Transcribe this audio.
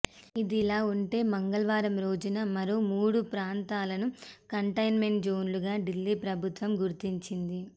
ఇదిలా ఉంటే మంగళవారం రోజున మరో మూడు ప్రాంతాలను కంటెయిన్మెంట్ జోన్లుగా ఢిల్లీ ప్రభుత్వం గుర్తించింది